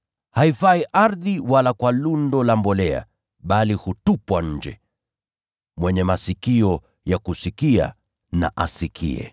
Haifai ardhi wala kwa lundo la mbolea, bali hutupwa nje. “Mwenye masikio ya kusikia, na asikie.”